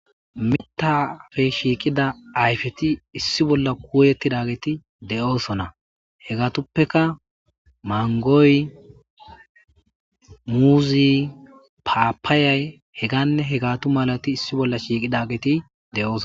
Mitta ayfeppe shiiqidati issi bolla de'osona. Hegatippekka mangoy, muuzey, paapayay, heganne hegatu malati issi bolla shiiqidageti de'osona.